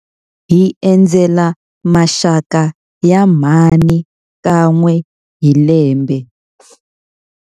Hi endzela maxaka ya mhani kan'we hi lembe.